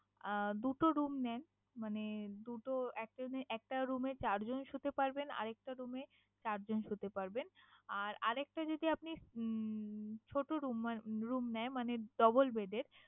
আহ দুটো room নেন। মানে দুটো একজনে একটা room এ চারজনে শুতে পারবেন আর একটা room এ চারজন শুতে পারবেন। আর আর একটা যদি আপনি উম ছোটো room নেয় মানে double bed এর